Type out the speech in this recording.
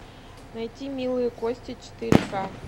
найти милые кости четыре ка